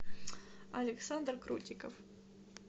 александр крутиков